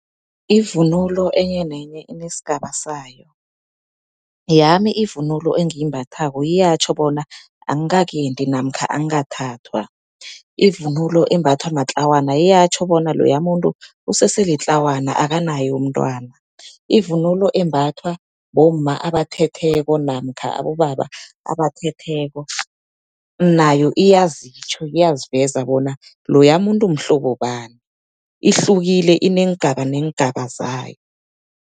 Ivunulo enye nenye inesigaba sayo. Yami ivunulo engiyimbathako iyatjho bona, angikakendi namkha angikathathwa. Ivunulo embathwa matlwana iyatjho bona, loya muntu usese litlawana akanaye umntwana. Ivunulo embathwa bomma abathethweko namkha abobaba abathetheko, nayo iyazitjho iyaziveza bona loya muntu mhlobo bani. Ihlukile ineengaba neengaba zayo.